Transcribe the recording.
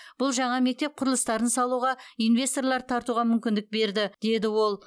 бұл жаңа мектеп құрылыстарын салуға инвесторларды тартуға мүмкіндік берді деді ол